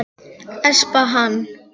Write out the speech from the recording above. Espa hann.